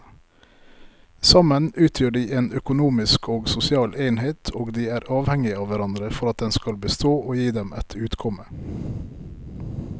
Sammen utgjør de en økonomisk og sosial enhet og de er avhengige av hverandre for at den skal bestå og gi dem et utkomme.